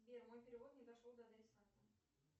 сбер мой перевод не дошел до адресата